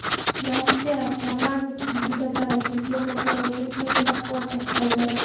Rossiya parlamenti deputatlari Turkiyani terrorchilikni qo‘llab-quvvatlashda aybladi.